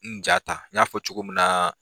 N ja ta n ɲ'a fɔ cogo min na